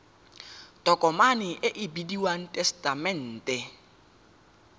tokomane e e bidiwang tesetamente